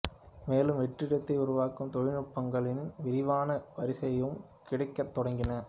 மேலும் வெற்றிடத்தை உருவாக்கும் தொழில்நுட்பங்களின் விரிவான வரிசையும் கிடைக்கத் தொடங்கின